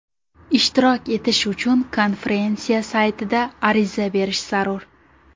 Ishtirok etish uchun konferensiya saytida ariza berish zarur.